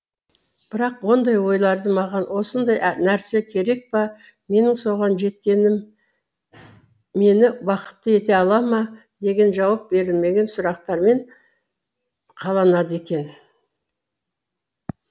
бірақ ондай ойларды маған осындай нәрсе керек па менің соған жеткенім мені бақытты ете ала ма деген жауап берілмеген сұрақтармен қаланады екен